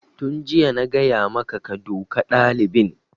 Tun jiya na gaya maka ka duka ɗalibin!